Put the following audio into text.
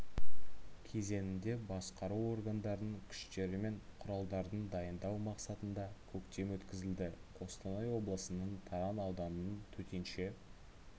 кезеңіңде басқару органдарының күштері мен құралдардын дайындау мақсатында көктем өткізілді қостанай облысының таран ауданының төтенше